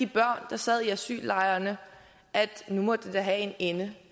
der sad i asyllejrene at nu måtte det da have en ende